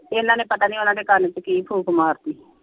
ਇਹਨਾ ਨੇ ਪਤਾ ਨੀ ਓਹਨਾ ਦੇ ਕੰਨ ਚ ਕੀ ਫੂਕ ਮਾਰ ਤੀ।